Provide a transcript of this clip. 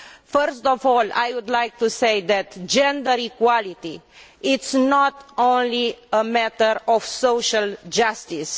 First of all, I would like to say that gender equality is not only a matter of social justice